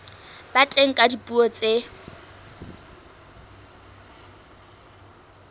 ba teng ka dipuo tse